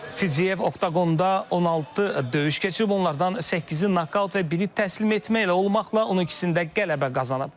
Fiziyev oktqonda 16 döyüş keçirib, onlardan səkkizi nokaut və biri təslim etməklə olmaqla 12-sində qələbə qazanıb.